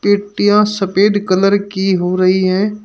पेटियां सफेद कलर की हो रही है।